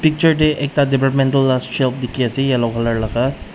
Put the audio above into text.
picture tae ekta departmantal la shelf dikhiase yellow colour laga.